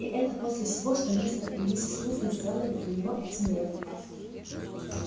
и это после всего что мистер и миссис уизли сделали для него этим летом